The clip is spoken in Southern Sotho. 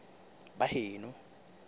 baheno